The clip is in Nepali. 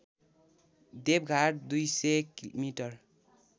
देवघाट २०० मि